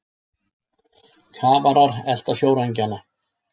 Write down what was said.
Kafarar elta sjóræningjana